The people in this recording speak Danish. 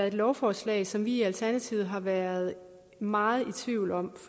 et lovforslag som vi i alternativet har været meget i tvivl om